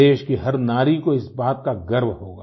देश की हर नारी को इस बात का गर्व होगा